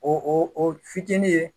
O o fitinin ye